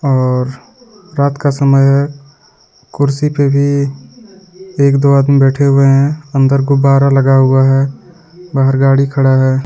और रात का समय हे कुर्सी पे भी एक दो आदमी बैठे हुए हे अंदर गुब्बारा लगा हुआ हे बहार गाडी खड़ा हे.